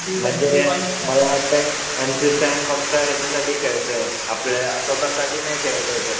म्हणजे मला वाटतंय शिव आणि एम सी स्टॅन फक्त ह्याच्यासाठी खेळतोय, आपल्या स्वतःसाठी नाही खेळत ये तो